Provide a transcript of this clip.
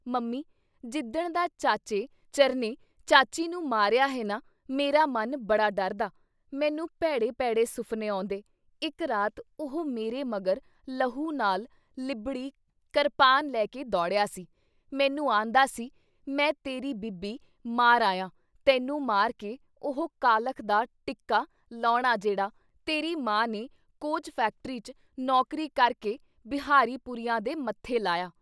Mummy! ਜਿੱਦਣ ਦਾ ਚਾਚੇ ਚਰਨੇ ਚਾਚੀ ਨੂੰ ਮਾਰਿਆ ਹੈ ਨਾ ਮੇਰਾ ਮਨ ਬੜਾ ਡਰਦਾ। ਮੈਨੂੰ ਭੈੜੇ ਭੈੜੇ ਸੁਫਨੇ ਆਉਂਦੇ- ਇਕ ਰਾਤ ਉਹ ਮੇਰੇ ਮਗਰ ਲਹੂ ਨਾਲ ਲਿਬੜੀ ਕਰਪਾਨ ਲੈਕੇ ਦੌੜਿਆ ਸੀ-ਮੈਨੂੰ ਆਂਹਦਾ ਸੀ ਮੈਂ ਤੇਰੀ ਬੀਬੀ ਮਾਰ ਆਇਆਂ-ਤੈਨੂੰ ਮਾਰ ਕੇ ਉਹ ਕਾਲਖ ਦਾ ਟਿੱਕਾ ਲਾਹੁਣਾ ਜੇੜ੍ਹਾ ਤੇਰੀ ਮਾਂ ਨੇ ਕੋਚ ਫੈਕਟਰੀ 'ਚ ਨੌਕਰੀ ਕਰਕੇ ਬਿਹਾਰੀ ਪੁਰੀਆ ਦੇ ਮੱਥੇ ਲਾਇਆ।